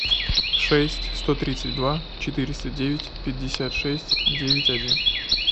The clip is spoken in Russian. шесть сто тридцать два четыреста девять пятьдесят шесть девять один